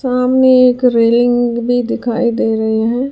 सामने एक रेलिंग भी दिखाई दे रहे हैं।